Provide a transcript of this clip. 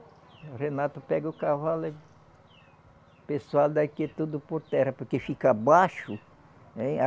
O Renato pega o cavalo e pessoal daqui é tudo por terra, porque fica baixo.